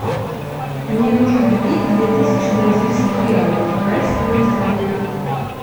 мне нужно купить две тысячи бразильских реалов какая стоимость обмена